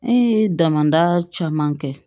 An ye damada caman kɛ